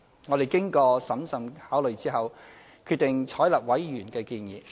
我們經過審慎考慮後，決定採納委員的建議。